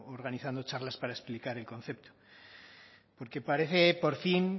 organizando charlas para explicar el concepto porque parece por fin